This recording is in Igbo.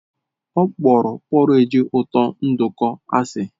Ọ kpọrọ porridge ụtọ nduku asị.